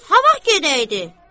Bəs ha vaxt gedəydi?